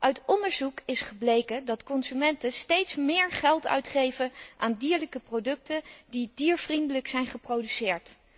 Uit onderzoek is gebleken dat consumenten steeds meer geld uitgeven aan dierlijke producten die diervriendelijk zijn geproduceerd.